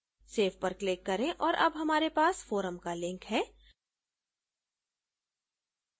save पर click करें और अब हमारे पास forum का link है